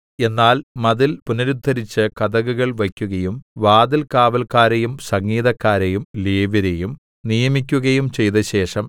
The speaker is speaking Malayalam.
എന്നാൽ മതിൽ പുനരുദ്ധരിച്ച് കതകുകൾ വയ്ക്കുകയും വാതിൽകാവല്ക്കാരെയും സംഗീതക്കാരെയും ലേവ്യരെയും നിയമിക്കുകയും ചെയ്തശേഷം